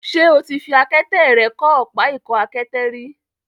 Ṣé o ti fi àkẹtẹ̀ rẹ kọ́ ọ̀pá ìkọ́-àkẹtẹ̀ rí?